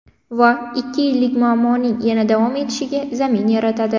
Va ikki yillik muammoning yana davom etishiga zamin yaratadi.